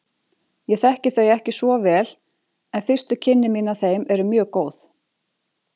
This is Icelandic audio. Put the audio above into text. Ég þekki þau ekki svo vel en fyrstu kynni mín af þeim eru mjög góð.